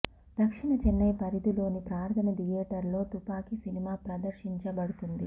దక్షిణ చెన్నై పరిధిలోని ప్రార్థన థియేటర్ లో తుపాకీ సినిమా ప్రదర్శించబడుతుంది